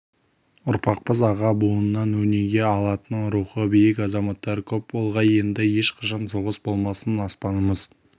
ұрпақпыз аға буыннан өнеге алатын рухы биік азаматтар көп болғай енді ешқашан соғыс болмасын аспанымыз